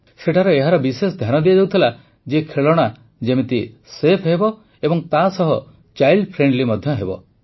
ସେଠାରେ ଏହାର ବିଶେଷ ଧ୍ୟାନ ଦିଆଯାଉଥିଲା ଯେ ଖେଳଣା ସେଫ୍ ହେବା ସହ ଚାଇଲ୍ଡ ଫ୍ରେଣ୍ଡଲି ମଧ୍ୟ ହେବ